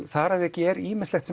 þar að auki er ýmislegt